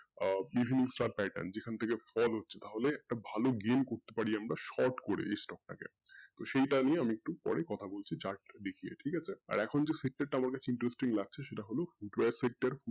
আহ বিভিন্ন chart এ যেখান থেকে ফল হচ্ছে মানে ভালো gain করতে পারি আমরা short করে তো সেইটা নিয়ে আমি একটু পরে কথা বলছি chart টা দেখিয়ে ঠিকআছে আর এখন যে sector টা আমার কাছে interesting লাগছে সেটা হলো sector